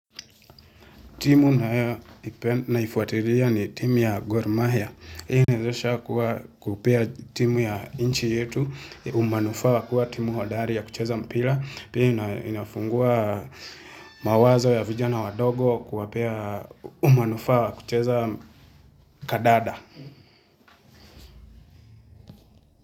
Timu naifuatilia ni timu ya Gormahia. Hii inawezesha kuwa kupea timu ya nchi yetu, umanufaa wa kuwa timu hodari ya kucheza mpira. Pii inafungua mawazo ya vijana wadogo kuwapea umanufaa wa kucheza kandanda.